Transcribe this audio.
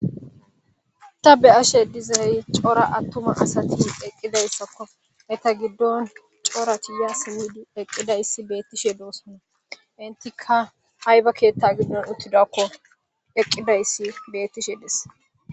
ta be7ashe dizay cora attuma asati eqqidayssakko eta giddon cora tiya simmidi eqqidayssi beettishe doossona intika hayba keetta giddon uttidakko eqqidayssi bettishe des